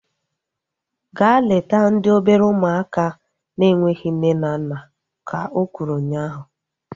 Gaa leta ndị obere ụmụaka na-enweghị nne na nna! Ka o kwuru ụnyaahụ